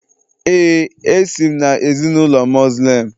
Ee, esi m na ezinụlọ Muslim